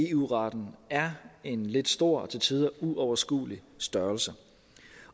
eu retten er en lidt stor og til tider uoverskuelig størrelse